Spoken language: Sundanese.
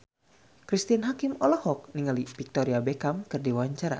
Cristine Hakim olohok ningali Victoria Beckham keur diwawancara